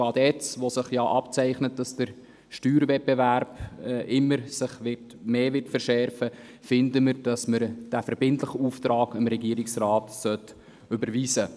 Gerade jetzt, wo sich abzeichnet, dass sich der Steuerwettbewerb verschärfen wird, denken wir, dass wir dem Regierungsrat diesen verbindlichen Auftrag erteilen sollten.